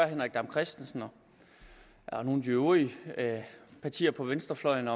henrik dam kristensen og nogle af de øvrige partier på venstrefløjen